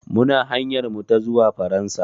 Muna hanyar mu ta zuwa Faransa.